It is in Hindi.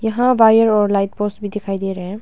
यहां वायर और लाइट पोस्ट भी दिखाई दे रहे हैं।